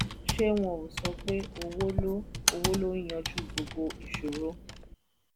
ṣé wọn ò sọ pé owó ló owó ló ń yanjú gbogbo ìṣòro?"